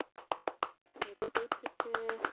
ஏதோ போயிட்டிருக்கு